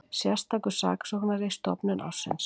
Sérstakur saksóknari stofnun ársins